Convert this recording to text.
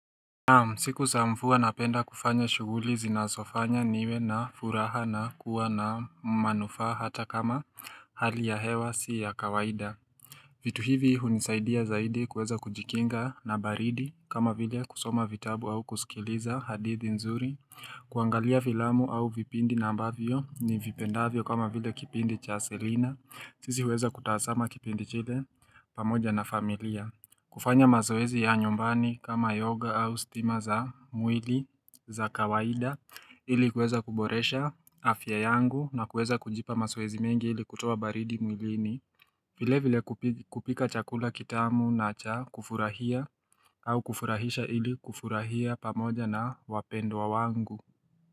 Naam siku sa mfua napenda kufanya shuguli zinasofanya niwe na furaha na kuwa na manufaa hata kama hali ya hewa si ya kawaida vitu hivi hunisaidia zaidi kuweza kujikinga na baridi kama vile kusoma vitabu au kusikiliza hadithi nzuri kuangalia filamu au vipindi na ambavyo ni vipendavyo kama vile kipindi cha selina sisi huweza kutahasama kipindi chile pamoja na familia kufanya mazoezi ya nyumbani kama yoga au stima za mwili za kawaida ili kueza kuboresha afya yangu na kueza kujipa masoezi mingi ili kutuoa baridi mwilini vile vile kupika chakula kitamu na cha kufurahia au kufurahisha ili kufurahia pamoja na wapendwa wangu.